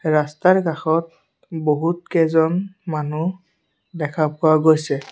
ৰাস্তাৰ কাষত বহুত কেইজন মানুহ দেখা পোৱা গৈছে।